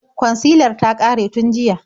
Kwansilar ta ƙare tun jiya.